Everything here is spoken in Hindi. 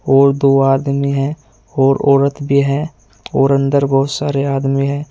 और दो आदमी हैं और औरत भी है और अंदर बहुत सारे आदमी हैं।